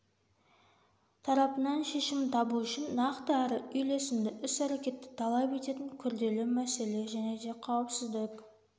тарапынан шешімін табу үшін нақты әрі үйлесімді іс-әрекетті талап ететін күрделі мәселе және де қауіпсіздік